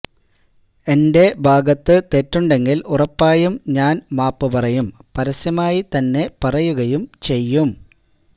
എന്റെ ഭാഗത്ത് തെറ്റുണ്ടെങ്കിൽ ഉറപ്പായും ഞാൻ മാപ്പ് പറയും പരസ്യമായി തന്നെ പറയുകയും ചെയ്യും